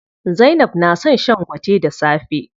Zainab na son shan gwate da safe.